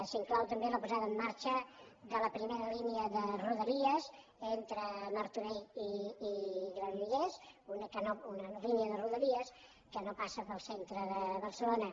s’hi inclou també la posada en marxa de la primera línia de rodalies entre martorell i granollers línia de rodalies que no passa pel centre de barcelona